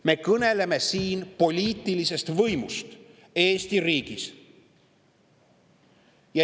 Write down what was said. Me kõneleme siin poliitilisest võimust Eesti riigis.